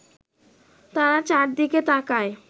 তারা চারদিকে তাকায়